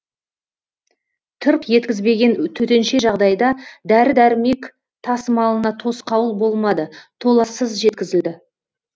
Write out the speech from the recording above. тырп еткізбеген төтенше жағдайда дәрі дәрмек тасымалына тосқауыл болмады толассыз жеткізілді